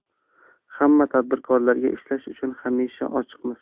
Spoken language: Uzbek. Hamma tadbirkorlarga ishlash uchun hamisha ochiqmiz.